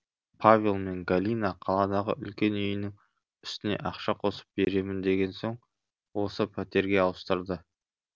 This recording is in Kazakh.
павел мен галина қаладағы үлкен үйінің үстіне ақша қосып беремін деген соң осы пәтерге ауыстырды